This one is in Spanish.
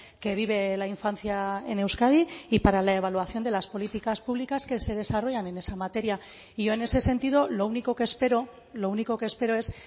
que vive la infancia en euskadi y para la evaluación de las políticas públicas que se desarrollan en esa materia y yo en ese sentido lo único que espero lo único que espero es